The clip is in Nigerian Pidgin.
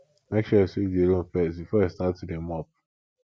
make sure you sweep the room first before you start to dey mop